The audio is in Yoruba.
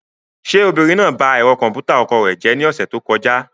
Ṣé obìnrin náà ba ẹ̀rọ kọ̀m̀pútà ọkọ rẹ̀ jẹ́ ní ọ̀sẹ̀ tó kọjá?